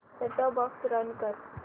set top box run कर